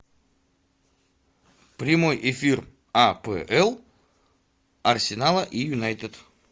прямой эфир апл арсенала и юнайтед